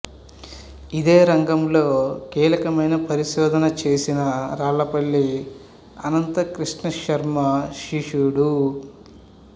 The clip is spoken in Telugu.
ఇదే రంగంలో కీలకమైన పరిశోధన చేసిన రాళ్ళపల్లి అనంతకృష్ణ శర్మ శిష్యుడు